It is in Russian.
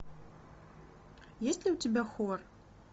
есть ли у тебя хор